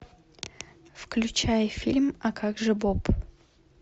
включай фильм а как же боб